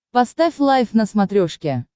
поставь лайф на смотрешке